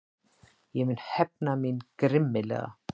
Ég mun hefna mín grimmilega.